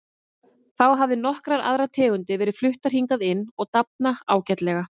Þá hafa nokkrar aðrar tegundir verið fluttar hingað inn og dafna ágætlega.